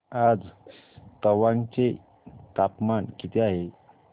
आज तवांग चे तापमान किती आहे